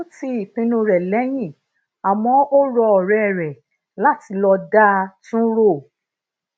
ó ti ìpinnu re leyin àmó ó rọ òré rè lati lo da tun un ro